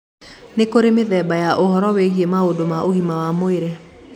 Nĩ kũrĩ mĩthemba ya ũhoro wĩgie maũndũ ma ũgima wa mwĩrĩ.